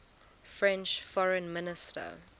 french foreign minister